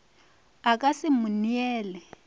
a ka se mo neele